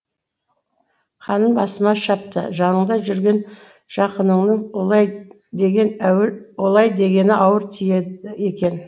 қаным басыма шапты жаныңда жүрген жақыныңның олай дегені ауыр тиеді екен